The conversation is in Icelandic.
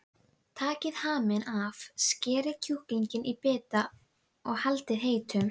Þingeyingur þurfti enn að taka á honum stóra sínum.